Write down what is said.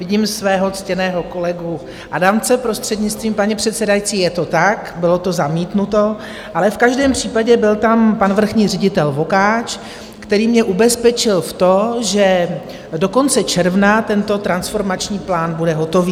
Vidím svého ctěného kolegu Adamce, prostřednictvím paní předsedající, je to tak, bylo to zamítnuto, ale v každém případě byl tam pan vrchní ředitel Vokáč, který mě ubezpečil v to, že do konce června tento transformační plán bude hotový.